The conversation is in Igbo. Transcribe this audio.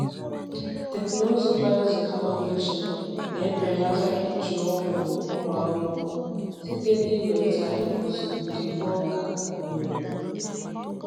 Teknụzụ biotechnology na-ebelata iji ọgwụ ụmụ ahụhụ site n’iweta iguzogide n’ọka na owu.